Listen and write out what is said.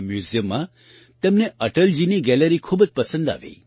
આ મ્યૂઝિયમમાં તેમને અટલજીની ગેલેરી ખૂબ જ પસંદ આવી